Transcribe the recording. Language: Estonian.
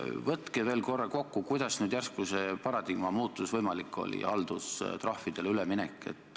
Võtke veel korra kokku, kuidas nüüd järsku see paradigma muutus võimalik oli, see haldustrahvidele üleminek.